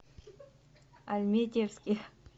альметьевске